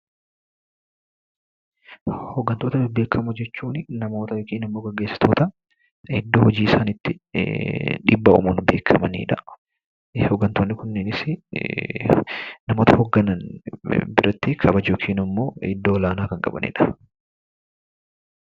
Hooggantoota bebbeekamoo jechuunii namoota yokiin geggeessitoota iddoo hojii isaaniitti dhiibbaa uumuun beekkamanidha. Hooggantoonni kunneenisii namoota hoogganan biratti kabaja yookin immoo iddoo olaanaa kan qabanidha